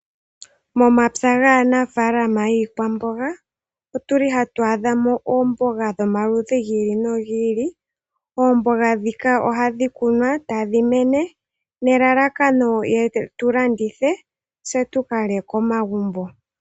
Momapya nganafalama yiikwambonga otuli hatwadhamo ombonga dhomalidhi ngili nongili ombonga dhika ohadhi kunwa tadhimene nelalakano yetulandithe tse tukalye komagumbo.